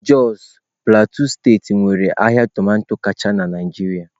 Jos Plateau steeti nwere ahịa tomato kacha na Naịjirịa.